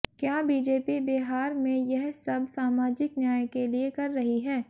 क्या बीजेपी बिहार में यह सब सामाजिक न्याय के लिए कर रही है